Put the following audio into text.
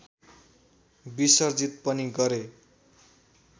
विसर्जित पनि गरे